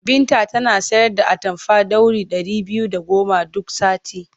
Binta tana sayar da atamfa ɗauri ɗari biyu da goma duk sati.